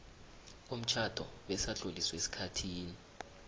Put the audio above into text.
komtjhado besatloliswa esikhathini